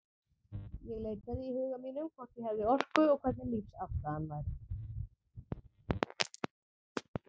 Ég leitaði í huga mínum, hvort ég hefði orku, og hvernig lífsafstaðan væri.